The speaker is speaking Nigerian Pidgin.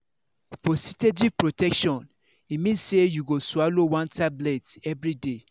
for steady protection e mean say you go swallow one tablet everyday